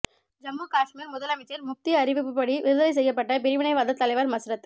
ஜம்மு காஷ்மீர் முதலமைச்சர் முப்தி அறிவிப்பு படி விடுதலை செய்யப்பட்ட பிரிவினைவாத தலைவர் மஸ்ரத்